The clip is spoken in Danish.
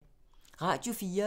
Radio 4